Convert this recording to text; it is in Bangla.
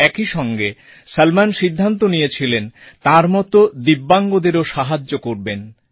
একই সঙ্গে সলমন সিদ্ধান্ত নিয়েছিলেন তাঁর মতো দিব্যাঙ্গ দেরও সাহায্য করবেন